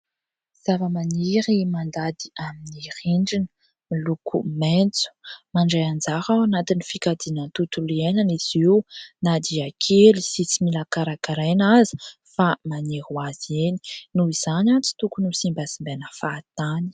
Zava-maniry mandady amin'ny rindrina miloko maitso. Mandray anjara ao anatin'ny fikajiana ny tontolo iainana izy io na dia kely sy tsy mila karakaraina aza fa maniry hoazy eny. Noho izany tsy tokony ho simbasimbana fahatany.